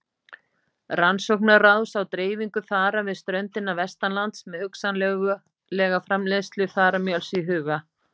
Rannsóknaráðs á dreifingu þara við ströndina vestanlands með hugsanlega framleiðslu þaramjöls í huga.